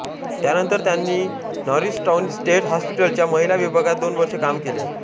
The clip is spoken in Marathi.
त्यानंतर त्यांनी नॉरिसटाऊन स्टेट हॉस्पिटलच्या महिला विभागात दोन वर्षे काम केले